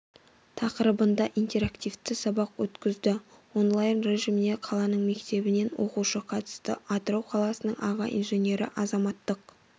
тақырыбында интерактивті сабақ өткізді онлайн режиміне қаланың мектебінен оқушы қатысты атырау қаласының аға инженері азаматтық